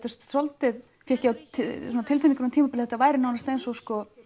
er svolítið fékk ég á tilfinninguna á tímabili að þetta væri nánast eins og